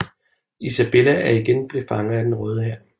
Isabella er igen blev fanger af Den Røde Hær